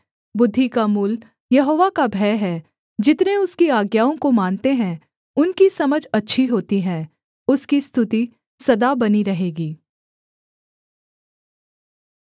बुद्धि का मूल यहोवा का भय है जितने उसकी आज्ञाओं को मानते हैं उनकी समझ अच्छी होती है उसकी स्तुति सदा बनी रहेगी